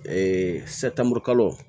Ee saturukalan